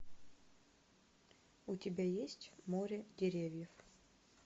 у тебя есть море деревьев